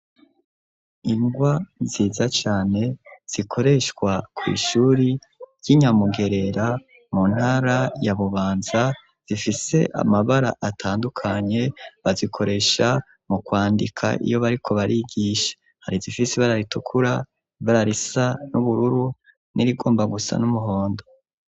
Ingwa nziza cane zikoreshwa kwishuri ryi Nyamugerera mu ntara ya Bubanza zifise amabara atandukanye bazikoresha mu kwandika iyo bariko barigisha, hari izifise ibara ritukura ibara risa n'ubururu n'irigomba gusa n'umuhondo.